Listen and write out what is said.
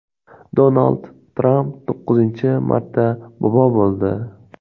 Donald Tramp to‘qqizinchi marta bobo bo‘ldi .